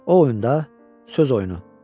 O oyunda, söz oyunu.